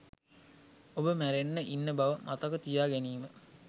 ඔබ මැරෙන්න ඉන්න බව මතක තියා ගැනීම